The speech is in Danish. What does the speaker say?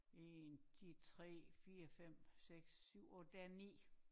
1 de 3 4 5 6 7 8 der er 9